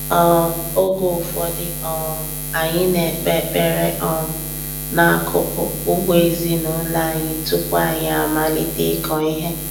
um Oge ụfọdụ, um anyị na-ekpe ekpere um n'akụkụ ugbo ezinụlọ anyị tupu anyị amalite ịkọ ihe.